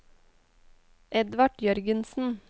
Edvard Jørgensen